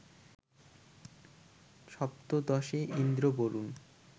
সপ্তদশে Indra, Varun